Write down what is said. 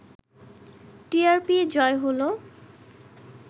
টিআরপিই জয় হলো